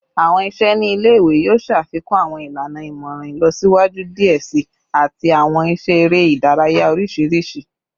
Awọn iṣẹ ni ile-iwe yoo ṣafikun awọn ilana imọran ilọsiwaju diẹ sii ati awọn iṣẹ ere idaraya oriṣiriṣi